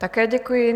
Také děkuji.